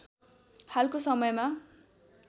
हालको समयमा